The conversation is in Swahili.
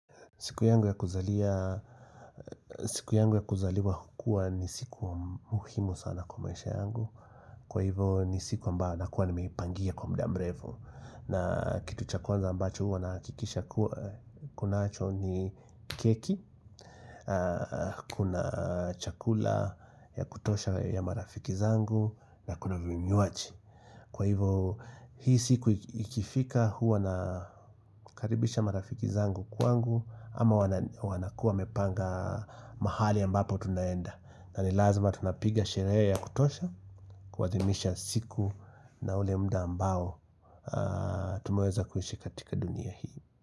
Siku yangu ya kuzaliwa hukua ni siku muhimu sana kwa maisha yangu Kwa hivo ni siku ambayobl nakuwa nimeipangia kwa muda mrefu na kitu cha kwanza ambacho huwa nahakikisha kunacho ni keki Kuna chakula ya kutosha ya marafiki zangu na kuna vinywaji Kwa hivo hii siku ikifika huwa nakaribisha marafiki zangu kwangu ama wanakua wamepanga mahali ambapo tunaenda na nilazima tunapiga sherehe ya kutosha Kuadhimisha siku na ule muda ambao Tumeweza kuishi katika dunia hii.